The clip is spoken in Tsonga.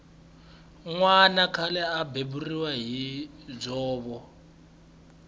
nwana khale a beburiwa hi dzovo